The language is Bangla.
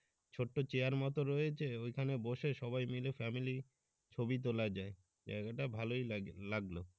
চোট্ট চেয়ারমত রয়েছে ওইখানে বসে সবাই মিলে family তোলায় যায় জায়গা টা ভালোই লাগে লাগলো।